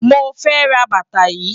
Mo fe ra bàtà yìí.